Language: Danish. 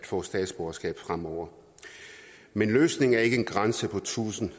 får statsborgerskab fremover men løsningen er ikke en grænse på tusind